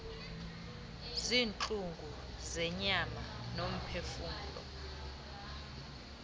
ziintlungu zenyama nomphefumlo